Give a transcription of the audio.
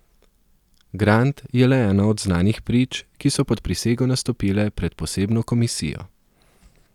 Grant je le ena od znanih prič, ki so pod prisego nastopile pred posebno komisijo.